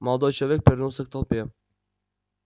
молодой человек повернулся к толпе